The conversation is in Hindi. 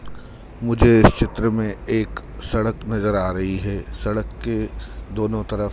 मुझे इस चित्र मे एक सड़क नज़र आ रही है सड़क के दोनों तरफ--